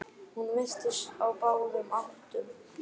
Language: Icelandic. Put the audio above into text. Hún virtist á báðum áttum.